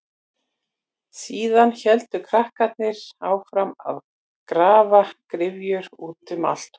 Síðan héldu krakkarnir áfram að grafa gryfjur út um allt tún.